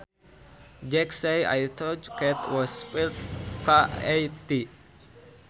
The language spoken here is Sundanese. Jack says I thought cat was spelled K A T